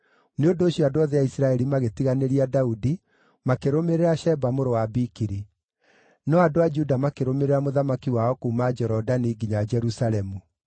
Nĩ ũndũ ũcio andũ othe a Isiraeli magĩtiganĩria Daudi, makĩrũmĩrĩra Sheba mũrũ wa Bikiri. No andũ a Juda makĩrũmĩrĩra mũthamaki wao kuuma Jorodani nginya Jerusalemu.